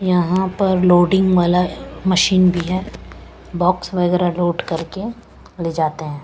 यहाँ पर लोडिंग वाला अ मशीन भी है बॉक्स वगैरह लोड करके ले जाते हैं।